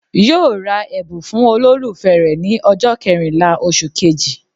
Yóò ra ẹ̀bùn fún olólùfẹ́ rè ní ọjọ́ kẹrìnlá osù kejì